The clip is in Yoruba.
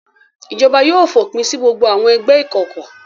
Ìjọba yóò fòpin sí gbogbo àwọn ẹgbẹ́ ìkọ̀kọ̀.